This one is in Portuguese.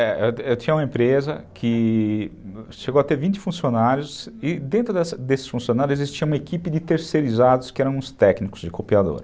Eu tinha uma empresa que chegou a ter vinte funcionários e dentro desses funcionários existia uma equipe de terceirizados que eram os técnicos de copiadora.